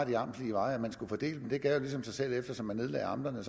de amtslige veje det gav ligesom sig selv at eftersom man nedlagde amterne